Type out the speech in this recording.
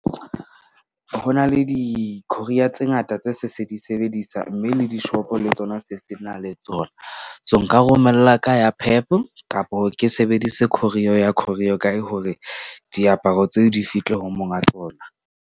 Ho na le di-courier tse ngata tse se di sebedisa. Mme le di-shop-o le tsona se sena le tsona. So, nka romella ka ya Pep kapo ke sebedise courier ya Courier guy hore diaparo tseo di fihle ho monga tsona.